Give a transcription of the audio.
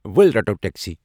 ول رٹَو ٹیکسی ۔